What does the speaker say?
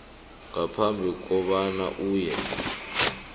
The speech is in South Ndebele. ngaphambi kobana uye